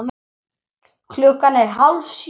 Klukkan er hálf sjö.